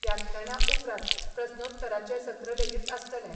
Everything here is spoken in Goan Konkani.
व्याख्याना उपरांत प्रस्नोत्तराचे सत्र लेगीत आसतले.